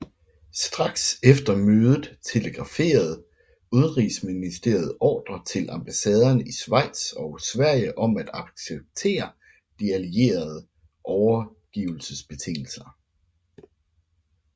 Straks efter mødet telegraferede udenrigsministeriet ordrer til ambassaderne i Schweiz og Sverige om at acceptere de allierede overgivelsesbetingelser